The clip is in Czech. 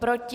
Proti?